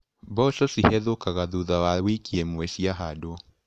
Mboco cihethũkaga thutha wa wiki ĩmwe ciahandwo.